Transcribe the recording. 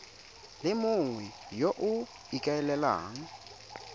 le mongwe yo o ikaelelang